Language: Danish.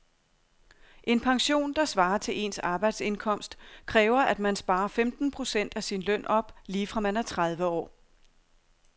En pension, der svarer til ens arbejdsindkomst, kræver at man sparer femten procent af sin løn op lige fra man er tredive år.